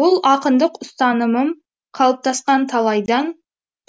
бұл ақындық ұстанымым қалыптасқан талайдан